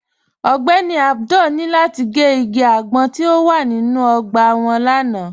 Ọ̀gbẹ́ní Abdul ni lati gẹ́ igi agbọ̀n ti o wà nínu ogbà wọn lánà.